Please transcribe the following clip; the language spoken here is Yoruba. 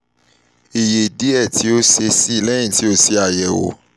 iye diẹ ti o ṣee ṣe lẹhin ti o ṣe ayẹwo